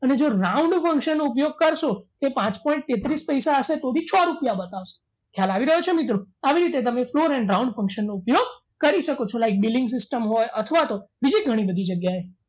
અને જો round function નો ઉપયોગ કરશો તે પાંચ point તેત્રીસ હશે તો બી છ રૂપિયા બતાવશે ખ્યાલ આવી રહ્યો છે મિત્રો આવી રીતે તમે floor and round function નો ઉપયોગ કરી શકો છો like dealing system હોય અથવા તો બીજી ઘણી બધી જગ્યાએ